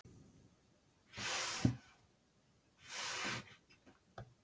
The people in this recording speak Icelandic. Ég þarf að fara núna